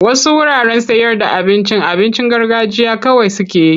Wasu wuraren sayarda abincin abincin garganjiya kawai suke yi.